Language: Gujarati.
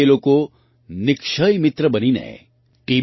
તે લોકો નિક્ષય મિત્ર બનીને ટી